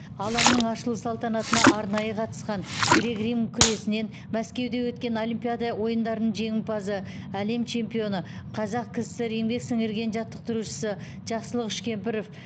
алаңның ашылу салтанатына арнайы қатысқан грек рим күресінен мәскеуде өткен олимпиада ойындарының жеңімпазы әлем чемпионы қазақ кср еңбек сіңірген жаттықтырушысы жақсылық үшкемпіров